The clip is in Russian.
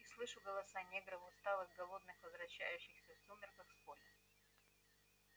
и слышу голоса негров усталых голодных возвращающихся в сумерках с поля